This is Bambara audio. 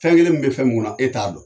Fɛn kelen min be fɛ mun ŋɔnɔ e t'a don.